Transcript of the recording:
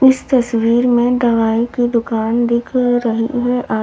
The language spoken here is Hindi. इस तस्वीर में दवाई की दुकान दिख रही है आ--